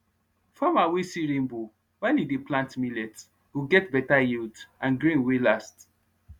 farmer wey see rainbow while e dey plant millet go get better yield and grain wey last